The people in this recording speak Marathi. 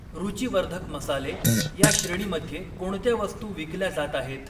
रूचीवर्धक मसाले या श्रेणीमध्ये कोणत्या वस्तू विकल्या जात आहेत?